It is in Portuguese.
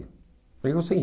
Eu digo, sim.